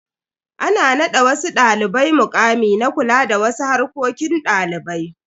Ana nada wasu dalibai mukami na kula da wasu harkokin dalibai.